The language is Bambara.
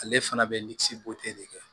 Ale fana bɛ de kɛ